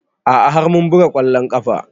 A'a har mun buga ƙwallon ƙafa